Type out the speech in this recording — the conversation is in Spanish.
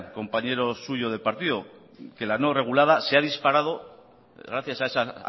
compañero suyo de partido que la no regulada se ha disparado gracias a esas